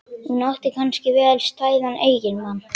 Hún átti kannski vel stæðan eiginmann.